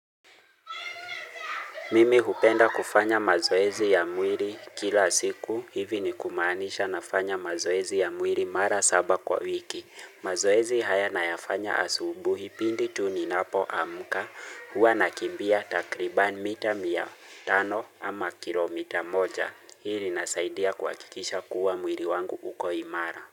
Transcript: Mimi hupenda kufanya mazoezi ya mwiri kila siku hivi ni kumaanisha nafanya mazoezi ya mwiri mara saba kwa wiki. Mazoezi haya nayafanya asubuhi pindi tu ninapoamka huwa nakimbia takriban mita mia tano ama kilomita moja hii linasaidia kuhakikisha kuwa mwiri wangu uko imara.